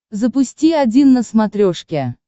запусти один на смотрешке